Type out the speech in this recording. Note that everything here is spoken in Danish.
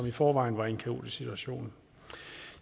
i forvejen var i en kaotisk situation